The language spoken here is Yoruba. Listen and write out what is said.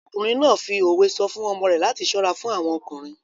Ọkùnrin náà fi òwe sọ fún ọmọ rẹ̀ láti ṣọ́ra fún àwọn ọkùnrin.